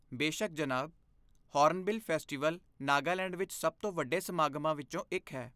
ਬੇਸ਼ੱਕ, ਜਨਾਬ! Hornbill festival Nagaland ਵਿੱਚ ਸਭ ਤੋਂ ਵੱਡੇ ਸਮਾਗਮਾਂ ਵਿੱਚੋਂ ਇੱਕ ਹੈ।